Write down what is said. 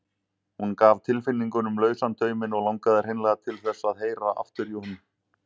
Hún gaf tilfinningunum lausan tauminn og langaði hreinlega til þess að heyra aftur í honum.